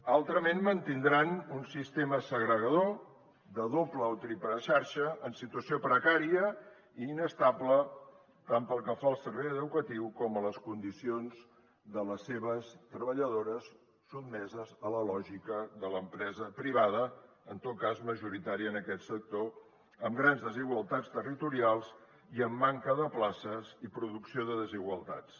altrament mantindran un sistema segregador de doble o triple xarxa en situació precària i inestable tant pel que fa al servei educatiu com a les condicions de les seves treballadores sotmeses a la lògica de l’empresa privada en tot cas majoritària en aquest sector amb grans desigualtats territorials i amb manca de places i producció de desigualtats